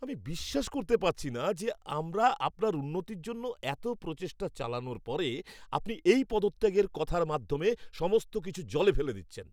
আমি বিশ্বাস করতে পারছি না যে আমরা আপনার উন্নতির জন্য এত প্রচেষ্টা চালানোর পরে আপনি এই পদত্যাগের কথার মাধ্যমে সমস্ত কিছু জলে ফেলে দিচ্ছেন।